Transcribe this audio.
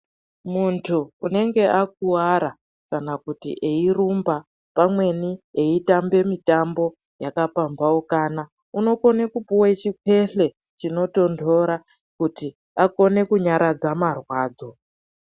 Muntu unenge akuwara kana kuti eirumba pamweni eitambe mitambo yakapambaukana, unokone kupiwe chikwehle chinotondora kuti akone kunyaradza marwadzo.